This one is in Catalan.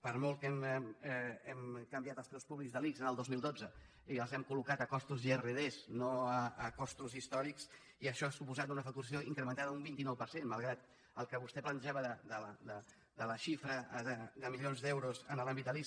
per molt que hem canviat els preus públics de l’ics el dos mil dotze i els hem coltos grd no a costos històrics i això ha suposat una facturació incrementada un vint nou per cent malgrat el que vostè plantejava de la xifra de milions d’euros en l’àmbit de l’ics